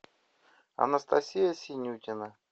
анастасия синютина